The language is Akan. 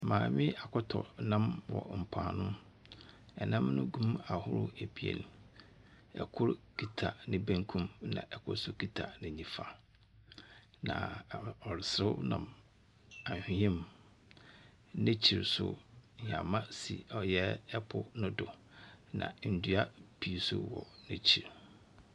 Maame yi akɔtɔ nnam wɔ mpoano. Nnam no gu mu ahodoɔ ebien. Kor kita ne benkum na kor nso kita ne nifa, na a ɔreserew nam ahwea mu. N'ekyir so, hɛma si ɔyɛ po no do, na ndua pii nso wɔ n'ekyir.